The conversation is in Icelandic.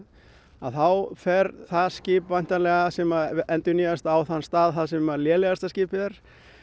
þá fer það skip væntanlega sem endurnýjast á þann stað sem lélegasta skipið er